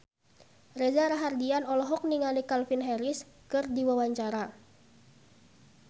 Reza Rahardian olohok ningali Calvin Harris keur diwawancara